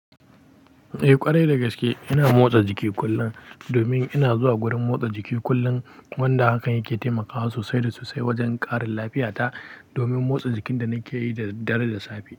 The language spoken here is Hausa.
Eh ƙwarai da gaske ina motsa jiki kullum, domin ina zuwa gurin motsa jiki kullum wanda hakan yake taimakawa sosai da sosai wajen ƙarin lafiyata, domin motsa jikin da nake yi da dadaddaree da safe.